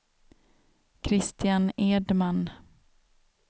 Kristian Edman